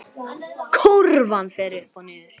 Kúrfan fer upp og niður.